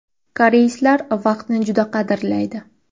Koreyslar vaqtni juda qadrlaydi.